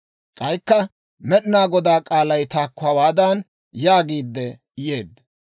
K'aykka Med'inaa Godaa k'aalay taakko hawaadan yaagiidde yeedda;